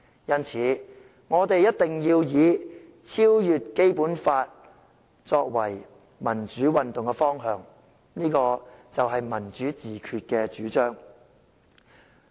因此，我們一定要以超越《基本法》作為民主運動的方向，這就是"民主自決"的主張。